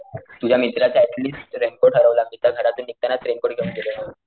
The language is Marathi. तुझ्या मित्राची ऍट लिस्ट रेनकोट हरवला मी तर घरातून निघतानाच रेनकोट घेऊन गेलेलो,